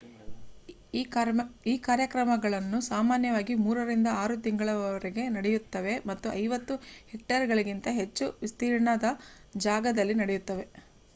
ಈ ಕಾರ್ಯಕ್ರಮಗಳು ಸಾಮಾನ್ಯವಾಗಿ ಮೂರರಿಂದ ಆರು ತಿಂಗಳುಗಳವರೆಗೆ ನಡೆಯುತ್ತವೆ ಮತ್ತು 50 ಹೆಕ್ಟೇರ್‌ಗಳಿಗಿಂತ ಹೆಚ್ಚು ವಿಸ್ತೀರ್ಣದ ಜಾಗದಲ್ಲಿ ನಡೆಯುತ್ತವೆ